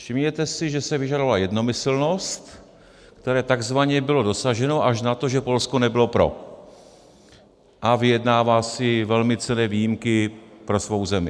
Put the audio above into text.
Všimněte si, že se vyžadovala jednomyslnost, které takzvaně bylo dosaženo až na to, že Polsko nebylo pro a vyjednává si velmi cenné výjimky pro svou zemi.